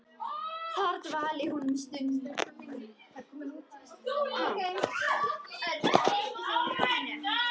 Þar dvaldi hún um stund.